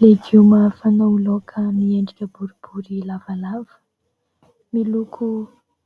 Legioma fanao laoka miendrika boribory lavalava. Miloko